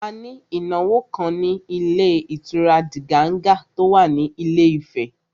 A ní ìnáwó kan ní ilé ìtura Diganga tó wà ní Ilé Ifẹ̀